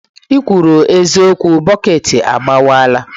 ikwuru eziokwu, bọket agbawala.